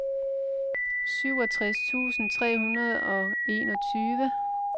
syvogtres tusind tre hundrede og enogtyve